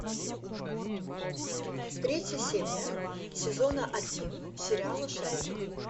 третья серия сезона один сериала шерлок